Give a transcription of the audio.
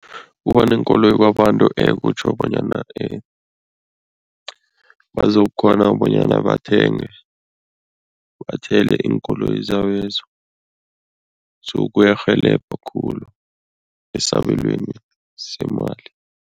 Kuba neenkoloyi kwabantu kutjho bonyana bazokukghona bonyana bathenge, bathele iinkoloyi zabezo so kuyarhelebha khulu esabelweni semali.